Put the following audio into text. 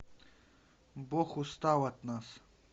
бог устал от нас